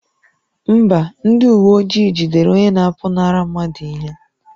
Mba, ndị uwe ojii jidere onye na-apụnara mmadụ ihe